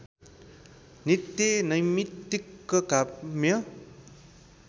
नित्य नैमित्तिक काम्य